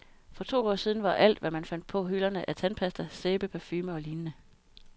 For to år siden var alt, hvad man fandt på hylderne af tandpasta, sæbe, parfume og lignende.